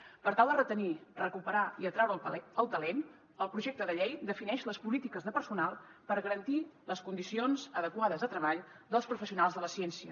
per tal de retenir recuperar i atraure el talent el projecte de llei defineix les polítiques de personal per garantir les condicions adequades de treball dels professionals de la ciència